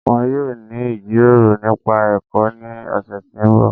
Wọn yọ̀ọ́ ni ijíròrò nípa ẹ̀kọ́ ni ọ̀ṣẹ̀ tí n bọ̀